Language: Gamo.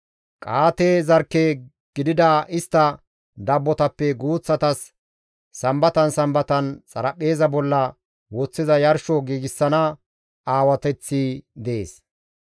Qa7aate zarkke gidida istta dabbotappe guuththatas Sambatan Sambatan xaraphpheeza bolla woththiza yarsho giigsana aawateththi dees.